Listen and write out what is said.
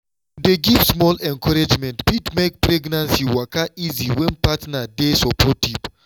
to dey give small encouragement fit make pregnancy waka easy when partner dey supportive.